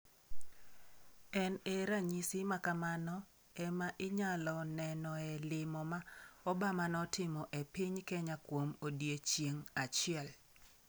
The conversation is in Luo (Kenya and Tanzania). En e ranyisi ma kamano e ma inyalo nenoe limo ma Obama notimo e piny Kenya kuom odiechieng’ achiel.